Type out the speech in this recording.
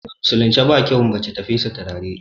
A musulunci ba kyau na mace ta fesa turare